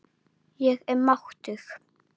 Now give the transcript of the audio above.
Ég er máttug.